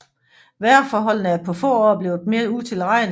Vejrforholdene er på få år blevet mere utilregnelige